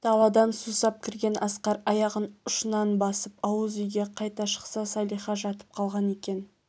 даладан сусап кірген асқар аяғын ұшынан басып ауыз үйге қайта шықса салиха жатып қалған екен